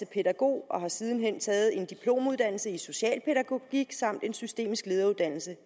pædagog og har siden hen taget en diplomuddannelse i socialpædagogik samt en systemisk lederuddannelse